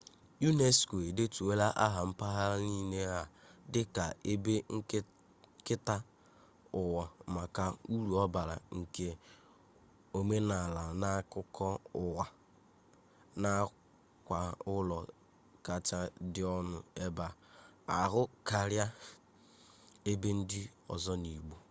unesco edetuola aha mpaghara niile a dịka ebe nketa ụwa maka uru ọ bara nye omenala na akụkọ ụwa nakwa ụlọ kacha dị ọnụ ebe ahụ karịa ebe ndị ọzọ n'obodo